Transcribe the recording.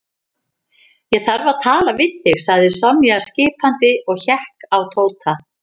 Ég þarf að tala við þig sagði Sonja skipandi og hékk á Tóta.